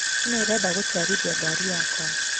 Nũ ũrenda gũtwarithia ngari yakwa